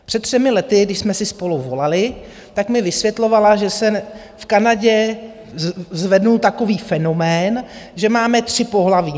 Před třemi lety, když jsme si spolu volaly, tak mi vysvětlovala, že se v Kanadě zvedl takový fenomén, že máme tři pohlaví.